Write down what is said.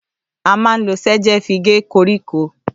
À mà ńlo ṣejẹ fi gẹ kọrikọ